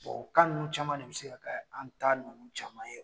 Bon o ka ninnu caman de be se ka kɛ an ta ninnu caman ye